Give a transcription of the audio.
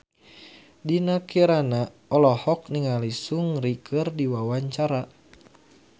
Dinda Kirana olohok ningali Seungri keur diwawancara